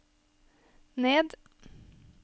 ned